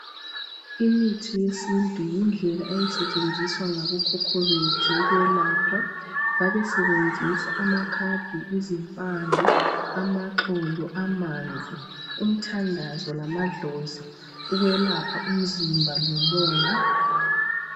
Imithi yesintu yindlela eyayisetshenziswa ngabokhokho bethu ukwelapha babesebenzisa amakhambi izimpande ,amaxolo ,amanzi umthandazo lamadlozi ukwelapha umzimba lomoya .